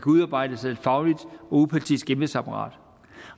udarbejdes af et fagligt og upartisk embedsapparat